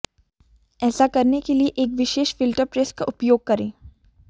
ऐसा करने के लिए एक विशेष फिल्टर प्रेस का उपयोग करें